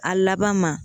A laban ma